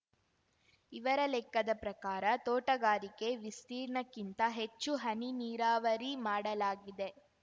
ಇವರ ಲೆಕ್ಕದ ಪ್ರಕಾರ ತೋಟಗಾರಿಕೆ ವಿಸ್ತೀರ್‍ಣಕ್ಕಿಂತ ಹೆಚ್ಚು ಹನಿ ನೀರಾವರಿ ಮಾಡಲಾಗಿದೆ